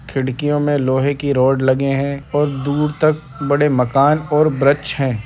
खिड़कियों में लोहे के रॉड लगे हैं और दूर तक बड़े माकन और वृक्ष हैं।